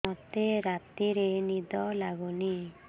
ମୋତେ ରାତିରେ ନିଦ ଲାଗୁନି